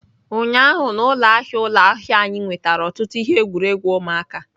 Ụnyaahụ na ụlọ ahịa ụlọ ahịa anyị nwetara ọtụtụ ihe egwuregwu ụmụaka.